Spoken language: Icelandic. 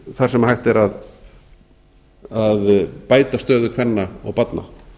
þar sem hægt er að bæta stöðu kvenna og barna